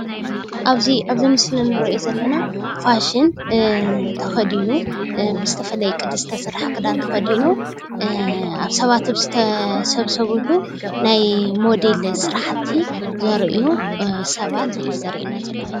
አብዚ ምስሊ እንሪኦ ዘለና ፋሽን ተከዲኑ ብዝተፈለየ ቅዲ ዝተሰርሐ ክዳን ተከዲኑ አብ ስባት ዝተሰብሰብሉ ናይ ሞዴል ስራሕቲ ዘርእዩ ሰባት እዩ ዘሪኤና ዘሎ፡፡